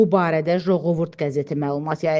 Bu barədə Qoovud qəzeti məlumat yayıb.